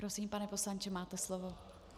Prosím, pane poslanče, máte slovo.